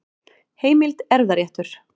Heimild: Erfðaréttur.